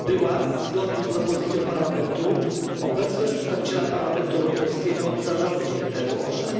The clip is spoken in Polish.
była zgodnie z propozycją Parlamentu obecność przedstawiciela Parlamentu Europejskiego w zarządzie EU OSHA.